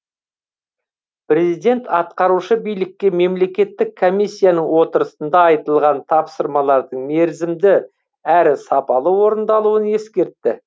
президент атқарушы билікке мемлекеттік комиссияның отырысында айтылған тапсырмалардың мерзімді әрі сапалы орындалуын ескертті